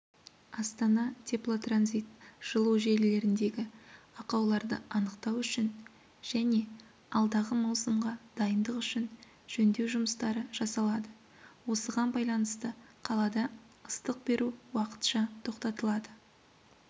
астана-теплотранзит жылу желілеріндегі ақауларды анықтау үшін және алдағы маусымға дайындық үшін жөндеу жұмыстары жасалады осыған байланысты қалада ыстық беру уақытша тоқтатылады